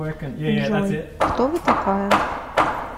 джой кто вы такая